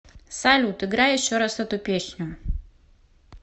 салют играй еще раз эту песню